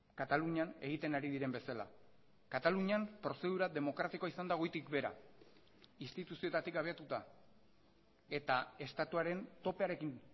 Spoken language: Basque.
katalunian egiten ari diren bezala katalunian prozedura demokratikoa izan da goitik behera instituzioetatik abiatuta eta estatuaren topearekin